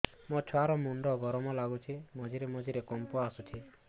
ମୋ ଛୁଆ ର ମୁଣ୍ଡ ଗରମ ଲାଗୁଚି ମଝିରେ ମଝିରେ କମ୍ପ ଆସୁଛି